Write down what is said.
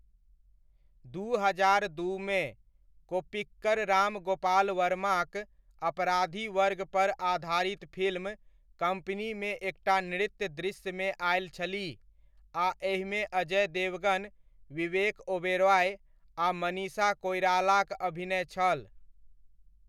दू हजार दूमे, कोप्पिकर राम गोपाल वर्माक अपराधी वर्गपर आधारित फिल्म कम्पनीमे एकटा नृत्य दृश्यमे आयल छलीह आ एहिमे अजय देवगन, विवेक ओबेरॉय आ मनीषा कोइरालाक अभिनय छल।